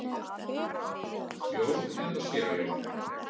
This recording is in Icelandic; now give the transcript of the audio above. Jón eða séra Jón?